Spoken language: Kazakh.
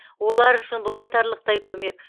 олар үшін бұл айтарлықтай көмек